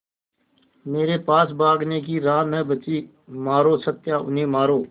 मेरे पास भागने की राह न बची मारो सत्या उन्हें मारो